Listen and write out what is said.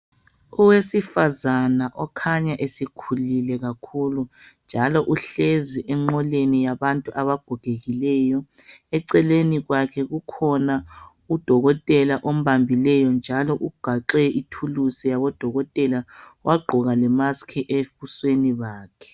Owesifazana okhanya esekhulile kakhulu njalo engwoleni yabantu abagogekileyo .Eceleni kwakhe kukhona udokotela ombambileyo njalo ugaxe ithulusi yabodokotela wagqoka le musk ebusweni bakhe.